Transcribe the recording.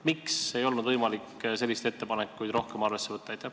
Miks ei olnud võimalik selliseid ettepanekuid rohkem arvesse võtta?